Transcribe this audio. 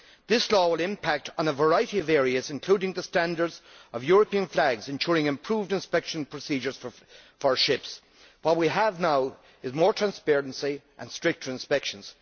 This law will impact on a variety of areas, including the standards of European flags, ensuring improved inspection procedures for ships. What we have now is more transparency and stricter inspections.